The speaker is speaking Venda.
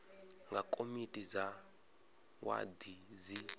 nga komiti dza wadi dzi